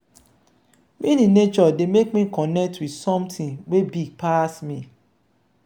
being in nature dey make me connect with something wey big pass me.